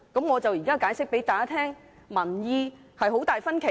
我現正向大家解釋，民意有很大分歧。